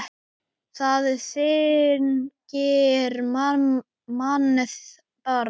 Það þyngir mann bara.